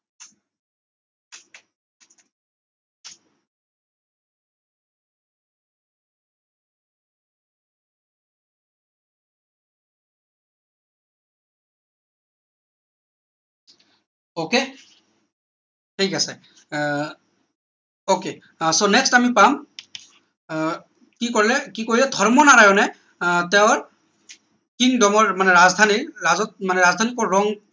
ok ঠিক আছে আহ ok আহ so next আমি পাম আহ কি কলে কি কলে ধৰ্মনাৰায়নে আহ তেওঁৰ kingdom ৰ মানে ৰাজধানী ৰাজধানী কত ৰং